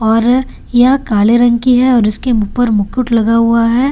और ये काले रंग की है और इसके ऊपर मुकुट लगा हुआ है।